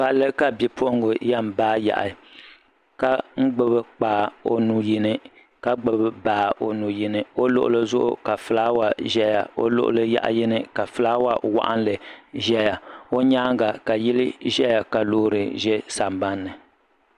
Palli ka bipuɣinga yɛn baa yaɣi ka gbubi kpaa o nuu yini ka gbubi baa o nuu yini o luɣuli Zugu ka filaawa ʒɛya o luɣuli yaɣa yini ka filaawa waɣinli ʒɛya o nyaanga ka yili ʒɛya ka loori ʒɛ sanban ni.